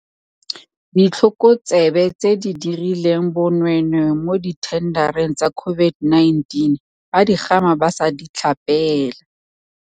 Ditlhokotsebe tse di dirileng bonweenwee mo dithendareng tsa COVID-19 ba digama ba sa di tlhapela